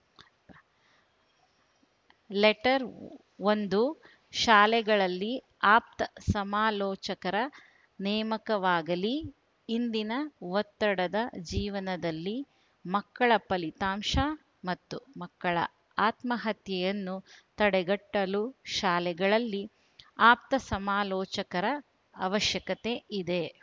letter ಒಂದು ಶಾಲೆಗಳಲ್ಲಿ ಆಪ್ತ ಸಮಾಲೋಚಕರ ನೇಮಕವಾಗಲಿ ಇಂದಿನ ಒತ್ತಡದ ಜೀವನದಲ್ಲಿ ಮಕ್ಕಳ ಫಲಿತಾಂಶ ಮತ್ತು ಮಕ್ಕಳ ಆತ್ಮಹತ್ಯೆಯನ್ನು ತಡೆಗಟ್ಟಲು ಶಾಲೆಗಳಲ್ಲಿ ಆಪ್ತಸಮಾಲೋಚಕರ ಅವಶ್ಯಕತೆ ಇದೆ